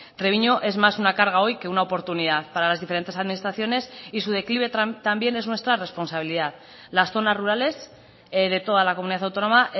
treviño es más una carga hoy que una oportunidad para las diferentes administraciones y su declive también es nuestra responsabilidad las zonas rurales de toda la comunidad autónoma